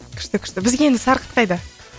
күшті күшті бізге енді сарқыт қайда